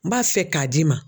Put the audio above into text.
N b'a fɛ k'a d'i ma